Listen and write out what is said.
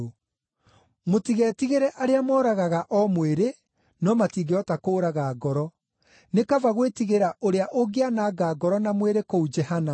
Mũtigetigĩre arĩa moragaga o mwĩrĩ, no matingĩhota kũũraga ngoro. Nĩ kaba gwĩtigĩra Ũrĩa ũngĩananga ngoro na mwĩrĩ kũu Jehanamu.